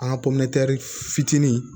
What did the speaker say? An ka fitinin